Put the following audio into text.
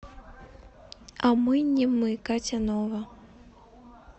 а мы не мы катя нова